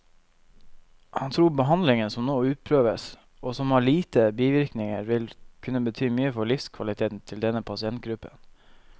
Han tror behandlingen som nå utprøves, og som har lite bivirkninger, vil kunne bety mye for livskvaliteten til denne pasientgruppen.